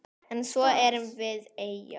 En svo erum við eyja.